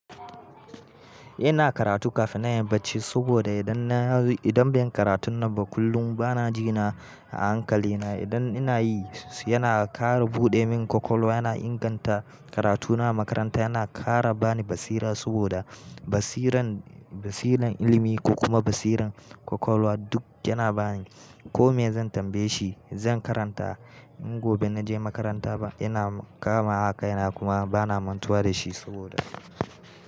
Ina karatu kafin na inyi barci saboda idan na yi, idan bai yi karatun nan ba kullum bana jina a hankalina. Idan ina yi yana ƙara buɗe min kwakwalwa, yana inganta karatuna a makaranta, yana ƙara bani basira saboda basiran, basiran ilimi ko kuma basiran ƙwaƙwalwa duk yana bani. Ko me zan tambaye shi zan karanta in gobe na je makaranta ba ina kama a kaina kuma bana mantuwa da shi saboda.